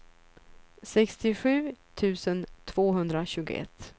sextiosju tusen tvåhundratjugoett